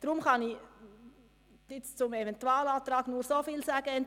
Deshalb kann ich zum Eventualantrag nur so viel sagen: